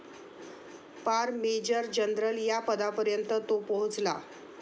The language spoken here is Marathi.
पार मेजर जनरल या पदापर्यंत तो पोहोचला.